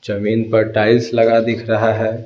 जमीन पर टाइल्स लगा दिख रहा है।